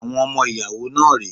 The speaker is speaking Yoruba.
Àwọn ọmọ ìyàwó náà rẹ́.